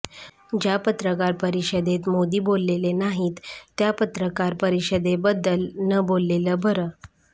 ज्या पत्रकार परिषदेत मोदी बोलले नाहीत त्या पत्रकार परिषदेबद्दल न बोललेलं बर